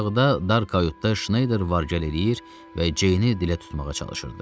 Aşağıda dar kayutda Şneyder var-gəl eləyir və Ceyni dilə tutmağa çalışırdı.